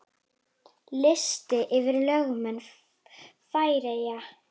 Listi yfir lögmenn Færeyja